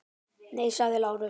Nei, sagði Lárus.